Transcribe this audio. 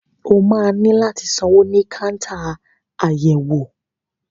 O máa ní láti sanwó ní káńtà àyẹ̀wò.